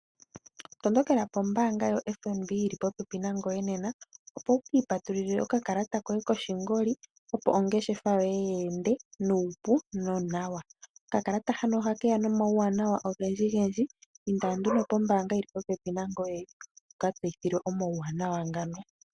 Tondokela kombaanga yo FNB yili popepi nangoye nena opo wu ki ipatululile okakalata koshingoli opo ongeshefa yoye yi ende nuupu nonawa . Okakalata hano ohakeya nomauwanawa ogendji . Inda nduno pombaanga yili popepi nangoye wu ka tseyithilwe omawuwanawa ngano.